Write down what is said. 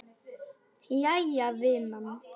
Jæja vinan.